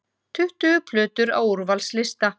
Tuttugu plötur á úrvalslista